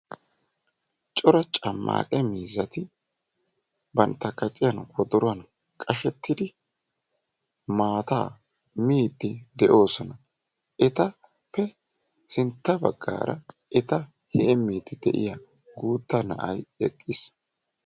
Cora cammaaqe miizati bantta kaciyaan wodoruwaan qashshettidi maataa miiddi de'oosona. etappe sintta baggaara eta heemmiidi de'iyaa guutta na'ay eqqiis.